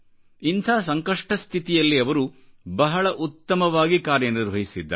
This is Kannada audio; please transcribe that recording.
ಇಂಥ ಸಂಕಷ್ಟ ಸ್ಥಿತಿಯಲ್ಲಿ ಅವರು ಬಹಳ ಉತ್ತಮವಾಗಿ ಕಾರ್ಯ ನಿರ್ವಹಿಸಿದ್ದಾರೆ